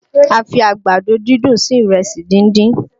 A fi Àgbàdo dúndùn sí ìrẹsì díndín